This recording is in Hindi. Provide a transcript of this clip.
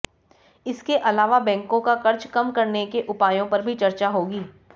इसके अलावा बैंकों का कर्ज कम करने के उपायों पर भी चर्चा होगी